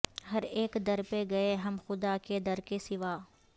ہر ایک در پہ گئے ہم خدا کے در کے سوا